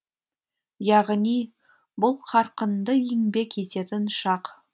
яғни бұл қарқынды еңбек ететін шақ